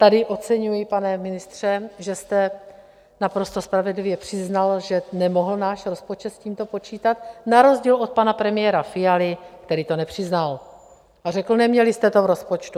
Tady oceňuji, pane ministře, že jste naprosto spravedlivě přiznal, že nemohl náš rozpočet s tímto počítat, na rozdíl od pana premiéra Fialy, který to nepřiznal a řekl, neměli jste to v rozpočtu.